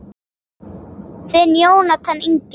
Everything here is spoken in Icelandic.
Þinn Jónatan Ingi.